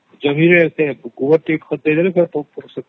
ଜମିରେ ଗୋବର ଟିକେ ଖତ ଦେଇଦେଲେ ହେଲା